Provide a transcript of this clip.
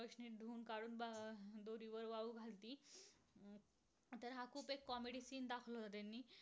तो एक comedy scene दाखवत होते मी